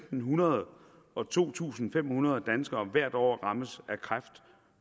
hundrede og to tusind fem hundrede danskere hvert år rammes af kræft